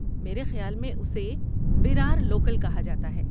میرے خیال میں اسے ویرار لوکل کہا جاتا ہے۔